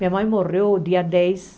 Minha mãe morreu no dia dez.